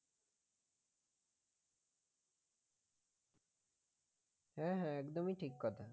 হ্যাঁ হ্যাঁ একদমই ঠিক কথা।